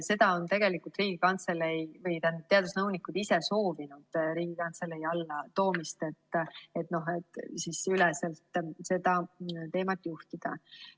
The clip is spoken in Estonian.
Seda on tegelikult teadusnõunikud ise soovinud, Riigikantselei alla toomist, et üleselt seda teemat juhtida.